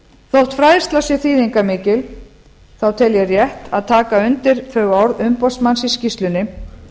þótt fræðsla sé þýðingarmikil þá tel ég rétt að taka undir þau orð umboðsmanns í skýrslunni